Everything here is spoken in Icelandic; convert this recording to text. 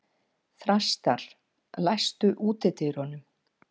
Þrastar, læstu útidyrunum.